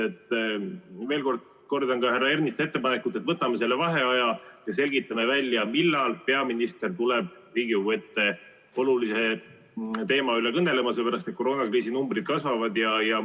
Kordan veel ka härra Ernitsa ettepanekut: võtame vaheaja ja selgitame välja, millal peaminister tuleb Riigikogu ette olulisel teemal kõnelema, sellepärast et koroonakriisi numbrid kasvavad.